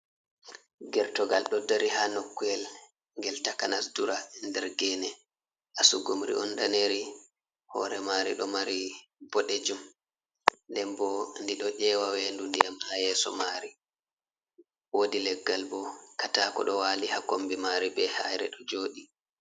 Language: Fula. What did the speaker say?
Gertogal do dari ha nokkuwel gel takanas dura nder gene, asugumri on daneri hore mari do mari bodejum den bo dido ewa wendu ndiyam ha yeso mari wodi leggal bo katako do wali ha kombi mari be hayre do jodi.